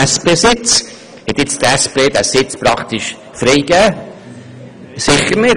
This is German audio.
Hat nun die SP diesen Sitz freigegeben?